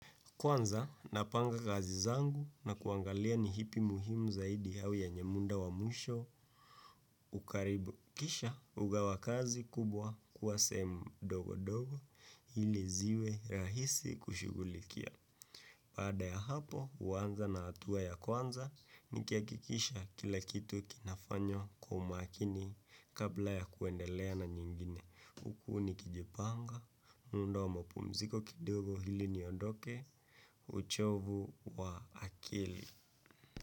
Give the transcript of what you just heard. Kwanza, napanga kazi zangu na kuangalia ni hipi muhimu zaidi hau yenye munda wa mwisho, ukaribu kisha, hugawa kazi kubwa, kuwa sehemu dogo dogo, hili ziwe rahisi kushugulikia. Pada ya hapo, huanza na hatua ya kwanza, nikiakikisha kila kitu kinafanywao kwa umakini kabla ya kuendelea na nyingine. Uku nikijipanga, munda wa mapumziko kidogo hili niondoke, uchovu wa akili.